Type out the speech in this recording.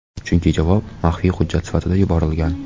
Chunki javob maxfiy hujjat sifatida yuborilgan.